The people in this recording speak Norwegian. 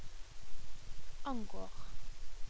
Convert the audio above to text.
angår